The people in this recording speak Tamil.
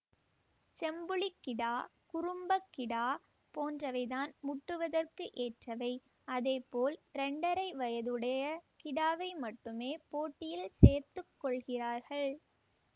செம்புளிக் கிடா குரும்பக் கிடா போன்றவை தான் முட்டுவதற்கு ஏற்றவை அதேபோல் இரண்டரை வயதுடைய கிடாவை மட்டுமே போட்டியில் சேர்த்து கொள்கிறார்கள்